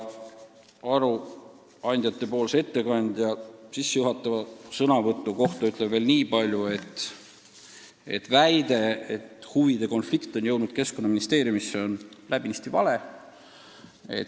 Arupärimise ettekandja sissejuhatava sõnavõtu kohta ütlen veel nii palju: väide, et huvide konflikt on jõudnud Keskkonnaministeeriumisse, on läbinisti vale.